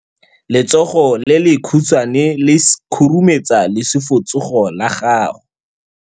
Letsogo le lekhutshwane le khurumetsa lesufutsogo la gago.